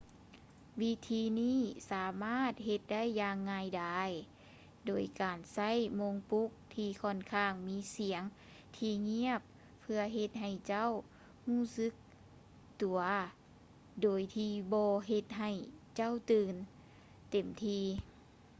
ວິທີນີ້ສາມາດເຮັດໄດ້ຢ່າງງ່າຍດາຍໂດຍການໃຊ້ໂມງປຸກທີ່ຂ້ອນຂ້າງມີສຽງທີ່ງຽບເພື່ອເຮັດໃຫ້ເຈົ້າຮູ້ສຶກຕົວໂດຍທີ່ບໍ່ເຮັດໃຫ້ເຈົ້າຕື່ນເຕັມທີ່